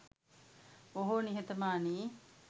බොහෝ නිහතමානි